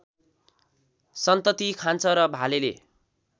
सन्तति खान्छ र भालेले